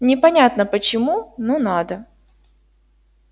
непонятно почему но надо